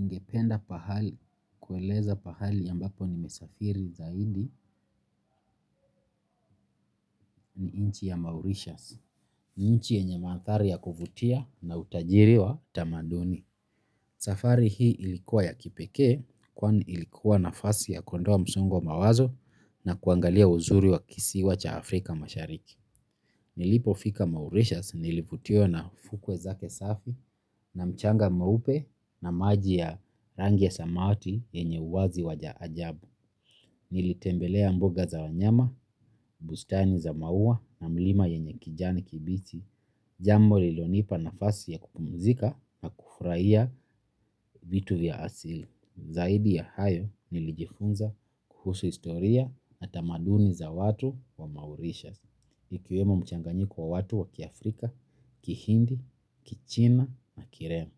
Ningependa pahali, kueleza pahali yambapo nimesafiri zaidi ni inchi ya Mauritius, inchi yenye maathari ya kuvutia na utajiriwa tamaduni. Safari hii ilikuwa ya kipeke kwani ilikuwa nafasi ya kuondoa msongo mawazo na kuangalia uzuri wa kisiwa cha Afrika mashariki. Nilipofika Mauritius nilivutiwa na fukwe zake safi na mchanga mweupe na maji ya rangi ya samawati yenye uwazi wa ajabu. Nilitembelea mbuga za wanyama, bustani za maua na mlima yenye kijani kibichi. Jambo lilonipa nafasi ya kupumzika na kufuraiya vitu vya asili. Zaidi ya hayo nilijifunza kuhusu historia na tamaduni za watu wa maurisha. Ikiwemo mchanganyiko wa watu wa kiafrika, kihindi, kichina na kirema.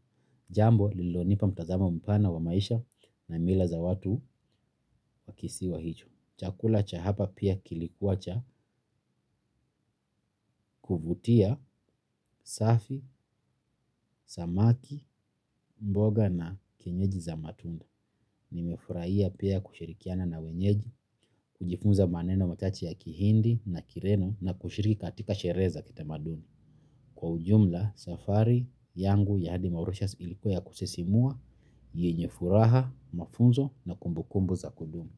Jambo lilonipa mtazamo mpana wa maisha na mila za watu wa kisiwa hicho. Chakula cha hapa pia kilikuwa cha kuvutia, safi, samaki, mboga na kienyeji za matunda. Nimefurahia pia kushirikiana na wenyeji, kujifunza maneno machache ya kihindi na kireno na kushiriki katika shere za kita maduni. Kwa ujumla, safari yangu ya Hadi Mauritius ilikuwa ya kusisimua, yenyefuraha, mafunzo na kumbukumbu za kudumu.